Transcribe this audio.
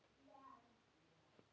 Og með ykkur!